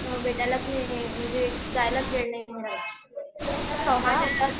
अ भेटायलाच नाही म्हणजे जायलाच वेळ नाही मिळाला